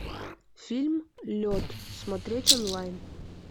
фильм лед смотреть онлайн